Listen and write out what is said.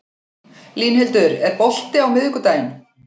Línhildur, er bolti á miðvikudaginn?